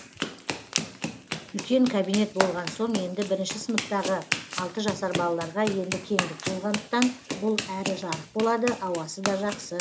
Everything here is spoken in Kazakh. үлкен кабинет болған соң енді бірінші сыныптағы алты жасар балаларға енді кеңдік болғандықтан бұл әрі жарық болады ауасы да жақсы